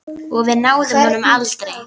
Og við náðum honum aldrei.